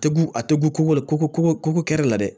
A tɛ gugo la ko ko kɛ la dɛ